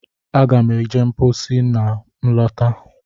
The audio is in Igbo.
Aga m eje mposi ma m lọta